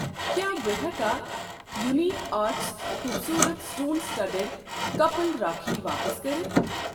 کیٛاہ بہٕ ہٮ۪کا یونیٖک آرٹس خوٗبصوٗرت سٹون صتڈڈ کپٕل راکھی واپس کٔرِتھ؟